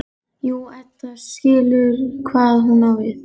Jú, Edda skilur hvað hún á við.